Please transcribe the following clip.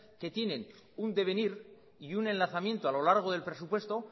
que tienen un devenir y un enlazamiento a lo largo del presupuesto